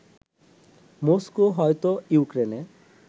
Moscow হয়তো ইউক্রেনে